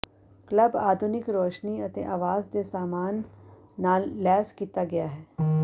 club ਆਧੁਨਿਕ ਰੋਸ਼ਨੀ ਅਤੇ ਆਵਾਜ਼ ਦੇ ਸਾਮਾਨ ਨਾਲ ਲੈਸ ਕੀਤਾ ਗਿਆ ਹੈ